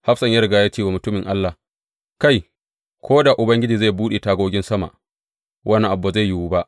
Hafsan ya riga ya ce wa mutumin Allah, Kai, ko da Ubangiji zai buɗe tagogin sama, wannan abu ba zai yiwu ba!